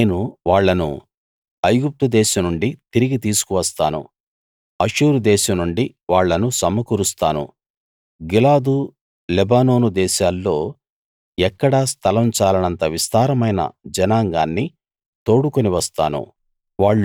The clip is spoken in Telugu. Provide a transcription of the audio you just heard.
నేను వాళ్ళను ఐగుప్తు దేశం నుండి తిరిగి తీసుకు వస్తాను అష్షూరు దేశం నుండి వాళ్ళను సమకూరుస్తాను గిలాదు లెబానోను దేశాల్లో ఎక్కడా స్థలం చాలనంత విస్తారమైన జనాంగాన్ని తోడుకుని వస్తాను